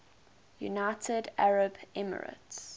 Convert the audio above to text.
united arab emirates